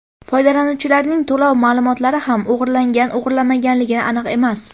Foydalanuvchilarning to‘lov ma’lumotlari ham o‘g‘irlangan-o‘g‘irlanmaganligi aniq emas.